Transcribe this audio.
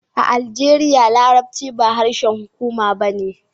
A Aljeriya, Larabci ba harshen hukuma ba ne